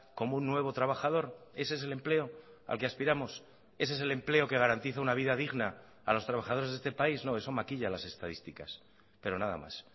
como un nuevo trabajador ese es el empleo al que aspiramos ese es el empleo que garantiza una vida digna a los trabajadores de este país no eso maquilla las estadísticas pero nada más